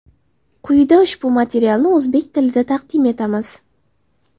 Quyida ushbu materialni o‘zbek tilida taqdim etamiz.